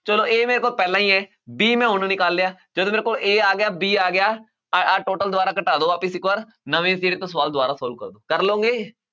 ਚਲੋ a ਮੇਰੇ ਕੋਲ ਪਹਿਲਾਂ ਹੀ ਹੈ b ਮੈਂ ਹੁਣ ਨਿਕਾਲ ਲਿਆ ਜਦੋਂ ਮੇਰੇ ਕੋਲ a ਆ ਗਿਆ b ਆ ਗਿਆ ਆਹ ਆਹ total ਦੀਵਾਰਾਂ ਘਟਾ ਦਿਓ ਵਾਪਸ ਇੱਕ ਵਾਰ ਨਵੇਂ ਸਿਰੇ ਤੋਂ ਸਵਾਲ ਦੁਬਾਰਾ solve ਕਰੋ, ਕਰ ਲਓਗੇ?